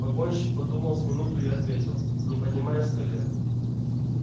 погонщик подумал с минуту и ответил не поднимаясь с колен